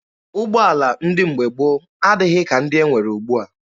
Ụgbọala ndị mgbe gboo adịghị ka ndị e nwere ugbua.